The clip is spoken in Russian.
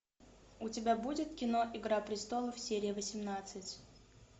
у тебя будет кино игра престолов серия восемнадцать